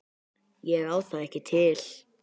Ég á það ekki til.